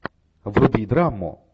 вруби драму